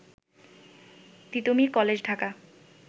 Titumir college Dhaka